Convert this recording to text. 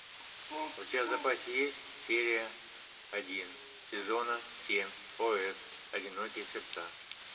у тебя в запасе есть серия один сезона семь ос одинокие сердца